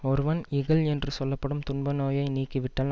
ஒருவன் இகல் என்று சொல்ல படும் துன்ப நோயை நீக்கி விட்டால்